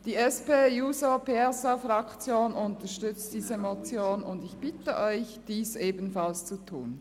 Die SP-JUSO-PSA-Fraktion unterstützt diese Motion, und ich bitte Sie, dies ebenfalls zu tun.